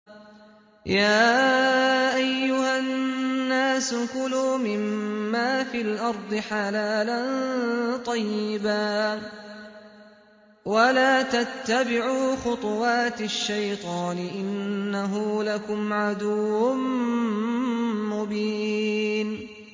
يَا أَيُّهَا النَّاسُ كُلُوا مِمَّا فِي الْأَرْضِ حَلَالًا طَيِّبًا وَلَا تَتَّبِعُوا خُطُوَاتِ الشَّيْطَانِ ۚ إِنَّهُ لَكُمْ عَدُوٌّ مُّبِينٌ